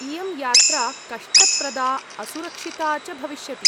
इयं यात्रा कष्टप्रदा असुरक्षिता च भविष्यति।